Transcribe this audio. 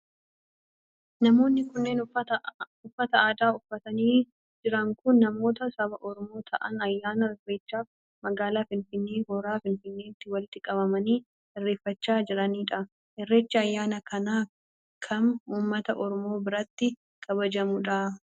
Namoonni kunneen uffata aadaa uffatanii jiran kun, namoota saba Oromoo ta'an ayyaana irreechaaf magaalaa Finfinnee hora finfinneetti walitti qabamanii irreeffachaa jiranii dha. Irrechi ayyaana akka kamii ummata oromoo biratti kabajamuu dha?